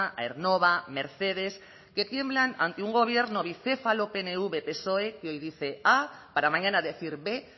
aernnova mercedes que tiemblan ante un gobierno bicéfalo pnv psoe que hoy dice a para mañana decir b